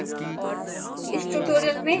संक्षिप में